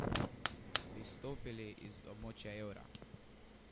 Bi izstopili iz območja evra?